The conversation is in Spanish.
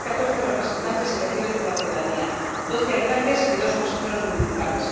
ellos hay catorce representantes elegidos por la ciudadanía, doce alcaldes y dos consejeros municipales.